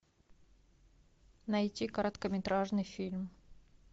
найти короткометражный фильм